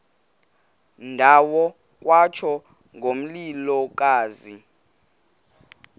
ndawo kwatsho ngomlilokazi